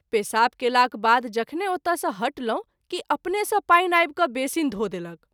पेशाब कएलाक बाद जखने ओतय सँ हटलहुँ कि अपने सँ पानि आबि क’ बेसीन धो देलक।